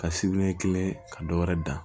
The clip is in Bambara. Ka sibiriɲɛ kelen ka dɔ wɛrɛ dan